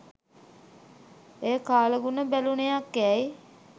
එය කාලගුණ බැලූනයක් යැයි